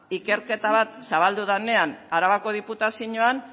ikerketa bat zabaldu danean arabako diputazioan